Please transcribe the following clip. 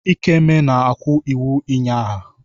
Ikeme na-kwu iwu ịnye aha.